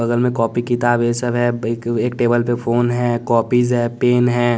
बगल में कॉपी किताब ये सब है एक टेबल पे फोन है कॉपीज है पेन है।